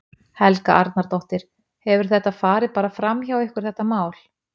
Helga Arnardóttir: Hefur þetta farið bara fram hjá ykkur þetta mál?